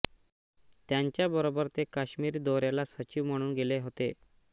त्यांच्याबरोबर ते काश्मीर दौऱ्याला सचिव म्हणून गेले होते